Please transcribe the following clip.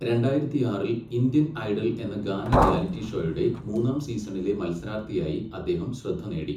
രണ്ടായിരത്തിയാറിൽ 'Indian Idol' എന്ന ഗാന reality ഷോയുടെ മൂന്നാം സീസണിലെ മത്സരാർത്ഥിയായി അദ്ദേഹം ശ്രദ്ധ നേടി.